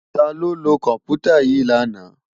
Táló ló kòmpútá yi làná?